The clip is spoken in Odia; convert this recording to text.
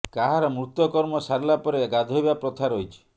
କାହାର ମୃତ କର୍ମ ସାରିଲା ପରେ ଗାଧୋଇବା ପ୍ରଥା ରହିଛି